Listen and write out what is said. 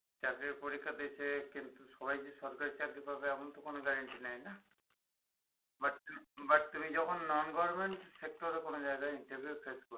চাকরির পরিক্ষাতে যেয়ে কিন্তু সবাই যে সরকারি চাকরি পাবে এমন তো কোন guarantee নেই না but but তুমি যখন non government sector এ কোন জায়গাই interview face করবে